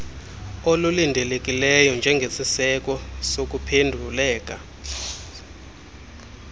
olulindelekileyo njengesiseko sokuphenduleka